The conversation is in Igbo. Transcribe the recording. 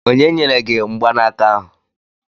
Onye nyere gi mgbanaka ahụ?